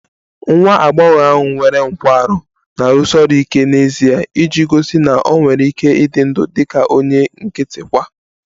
Nwa agbọghọ ahụ nwere nkwarụ na-arụsi ọrụ ike n'ezie iji gosi na ọ nwere ike ịdị ndụ dị ka onye nkịtị kwa